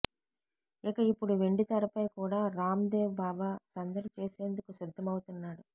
ఇక ఇప్పుడు వెండి తెరపై కూడా రామ్ దేవ్ బాబా సందడి చేసేందుకు సిద్దం అవుతున్నాడు